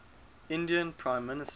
indian prime minister